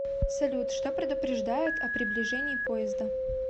салют что предупреждает о приближении поезда